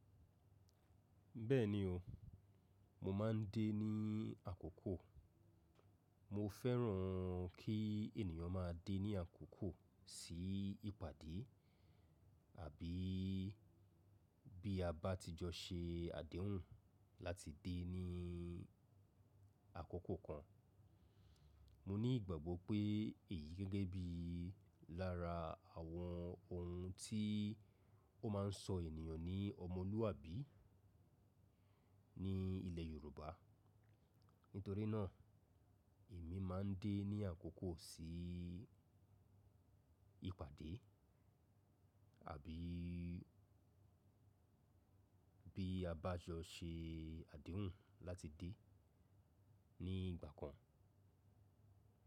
Bẹ́ẹ̀ni o, mo máa ń dé ní àkókò. Mo fẹ́ràn kí ènìyàn máa dé ní àkókò sí ìpàdé àbí bí a bá ti jọ ṣe àdéhùn láti dé ní àkókò kan. Mo ní ìgbàgbọ́ pé èyí gẹ́gẹ́ bí lára àwọn ohun tí ó máa sọ ènìyàn ní ọmọlúàbí ní ilẹ̀ Yorùbá. Nítorí náà èmi máa ń dé ní àkókò sí ìpàdé àbí bí a bá jọ ṣe àdéhùn láti dé ní ìgbà kan.